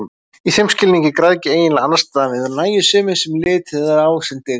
Í þeim skilningi er græðgi eiginlega andstæðan við nægjusemi, sem litið er á sem dygð.